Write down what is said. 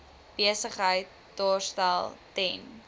besigheid daarstel ten